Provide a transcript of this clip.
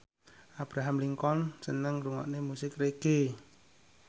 Abraham Lincoln seneng ngrungokne musik reggae